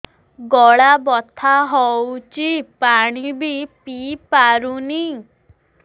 ଗଳା ବଥା ହଉଚି ପାଣି ବି ପିଇ ପାରୁନି